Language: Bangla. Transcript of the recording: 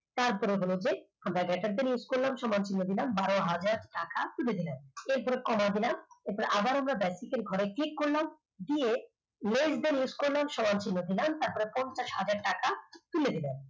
আমরা paint use করলাম সমান চিহ্ন দিলাম বারো হাজার টাকা তুলে নিলাম এরপর কমা দিলাম এরপর আবার আমরা basic র ঘরে click করলাম দিয়ে less then use করলাম সমান চিহ্ন দিলাম তারপর পঞ্চাশ হাজার টাকা তুলে দিলাম